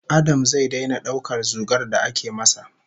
Adam zai daina daukar zugar da ake masa